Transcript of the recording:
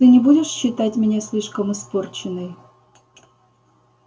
ты не будешь считать меня слишком испорченной